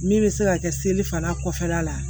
Min bɛ se ka kɛ seli fana kɔfɛla la